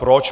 Proč?